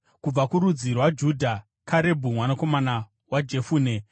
kubva kurudzi rwaJudha, Karebhu mwanakomana waJefune;